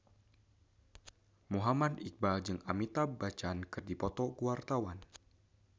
Muhammad Iqbal jeung Amitabh Bachchan keur dipoto ku wartawan